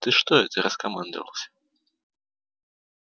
ты что это раскомандовался